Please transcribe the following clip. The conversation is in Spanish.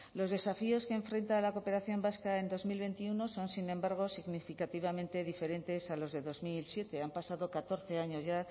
los desafíos que enfrenta la cooperación vasca en dos mil veintiuno son sin embargo significativamente diferentes a los de dos mil siete han pasado catorce años ya